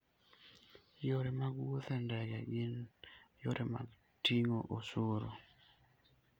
Yore mag wuoth e ndege gin yore mag ting'o osuru.